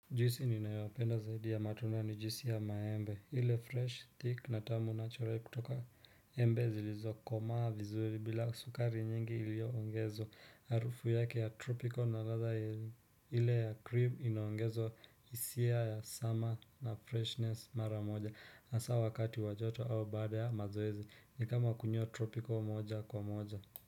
Juisi ninayopenda zaidi ya matunda ni juisi ya maembe ile fresh thick na tamu natural kutoka embe zilizo komaa vizuri bila sukari nyingi ilioongezwa arufu yake ya tropical na ladha ile ya cream iaongezo isia ya summer na freshness mara moja asa wakati wa joto au baada ya mazoezi nikama kunywa tropical moja kwa moja.